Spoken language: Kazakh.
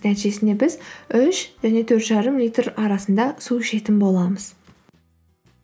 нәтижесінде біз үш және төрт жарым литр арасында су ішетін боламыз